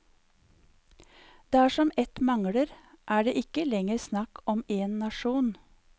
Dersom ett mangler, er det ikke lenger snakk om en nasjon.